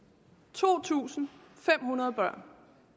to tusind fem hundrede børn